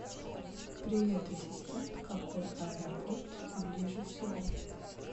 привет ассистент какой аэропорт ближе всего